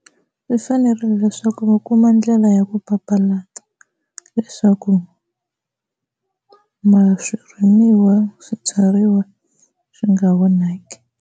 Swi fanerile leswaku va kuma ndlela ya ku papalata leswaku swirimiwa swibyariwa swi nga vonaki.